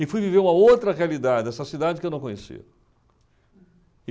E fui viver uma outra realidade, essa cidade que eu não conhecia.